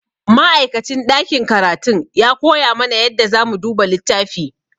Ma'aikacin ɗakin karatun ya koya mana yadda zamu duba littafi.